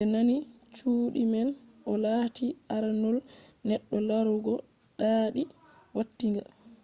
ɓe nandi cuuɗi man. o lati aranol neɗɗo larugo ɗaaɗi watinga